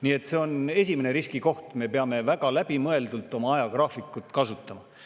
Nii et see on esimene riskikoht, me peame väga läbimõeldult oma ajagraafikut kasutama.